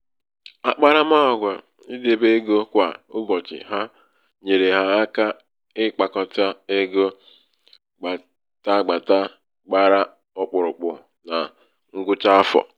“akparamàgwà idebe egō kwà ụbọ̀chị̀ ha nyèèrè ha aka ịkpākọ̀tà ego gbàtagbàta gbara ọkpụ̀rụ̀kpụ̀ na ṅgwụcha afọ̀”